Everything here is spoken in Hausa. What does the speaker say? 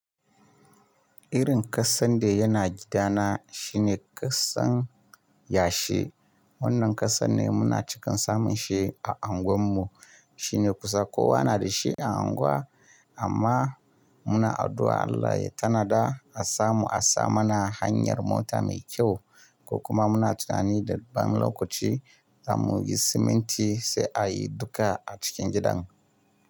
Irin ƙasan da yana gidana shine ƙasan yashi. Wannan ƙasan ne muna cikin samun shi a anguwar mu. Shi ne kusa kowa na da shi a unguwa amma muna addu'a Allah ya tanada a samu a sa mana hanyar mota mai kyau. Ko kuma muna tunani da bamu lokaci za mu yi siminti sai a yi duka a cikin gidan.